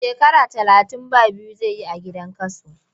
Shekara talatin ba biyu zai yi a gidan kaso.